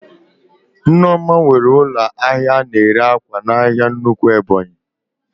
Nneoma nwere ụlọ ahịa ana ere ákwà n'ahia nnukwu Ebonyi